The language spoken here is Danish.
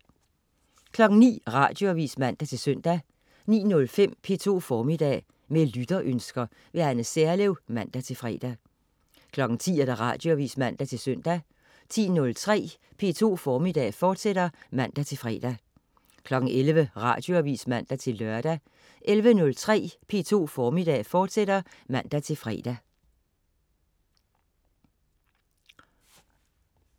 09.00 Radioavis (man-søn) 09.05 P2 Formiddag. Med lytterønsker. Anne Serlev (man-fre) 10.00 Radioavis (man-søn) 10.03 P2 Formiddag, fortsat (man-fre) 11.00 Radioavis (man-lør) 11.03 P2 Formiddag, fortsat (man-fre)